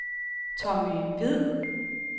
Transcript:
Tommy Hviid